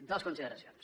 dues consideracions